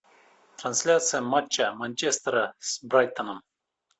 трансляция матча манчестера с брайтоном